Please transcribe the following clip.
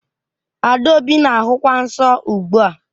Adaobi na-ahụkwa nsọ ugbu a